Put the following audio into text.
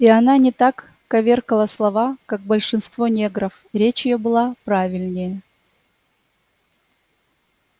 и она не так коверкала слова как большинство негров речь её была правильнее